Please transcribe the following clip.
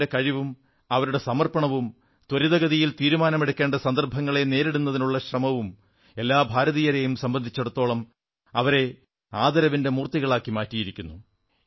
എഫിന്റെ കഴിവും അവരുടെ സമർപ്പണവും ത്വരിതഗതിയിൽ തീരുമാനമെടുക്കേണ്ട സന്ദർഭങ്ങളെ നേരിടുന്നതിനുള്ള ശ്രമവും എല്ലാ ഭാരതീയരെയും സംബന്ധിച്ചിടത്തോളം അവരെ ആദരവിന്റെ മൂർത്തികളായി മാറിയിരിക്കുന്നു